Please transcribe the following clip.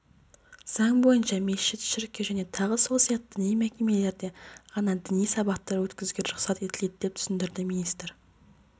заң бойынша мешіт шіркеу және тағы сол сияқты діни мекемелерде ғана діни сабақтар өткізуге рұқсат етіледі деп түсіндірді министр